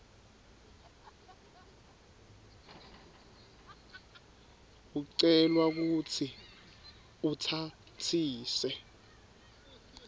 ucelwa kutsi utsatsise